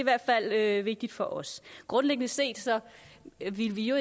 er i vigtigt for os grundlæggende set ville vi jo